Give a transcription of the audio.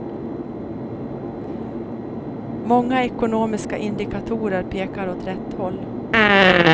Många ekonomiska indikatorer pekar åt rätt håll.